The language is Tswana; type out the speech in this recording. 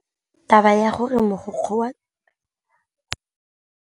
Taba ya gore mogokgo wa sekolo o utswitse tšhelete ke khupamarama.